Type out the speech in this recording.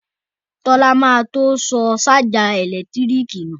Tọ́lá ma tó sọ ṣájà ẹ̀lẹ́tíríkì nù